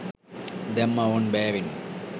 දැම්මා ඕන් බෑවෙන්න